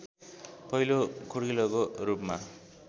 पहिलो खुड्किलोको रूपमा